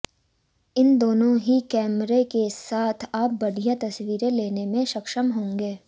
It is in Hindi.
इन दोनों ही कैमरा के साथ आप बढ़िया तस्वीरें लेने में सक्षम होंगे